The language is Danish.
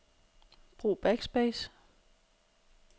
Brug backspace.